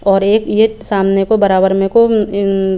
और गेट सामने के बराबर में एक और इन --